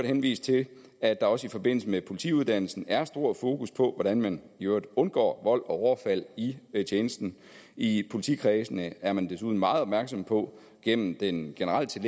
henvise til at der også i forbindelse med politiuddannelsen er stor fokus på hvordan man i øvrigt undgår vold og overfald i tjenesten i politikredsene er man desuden meget opmærksomme på gennem den generelle